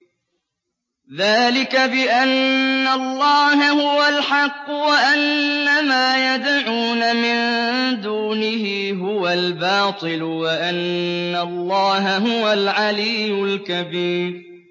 ذَٰلِكَ بِأَنَّ اللَّهَ هُوَ الْحَقُّ وَأَنَّ مَا يَدْعُونَ مِن دُونِهِ هُوَ الْبَاطِلُ وَأَنَّ اللَّهَ هُوَ الْعَلِيُّ الْكَبِيرُ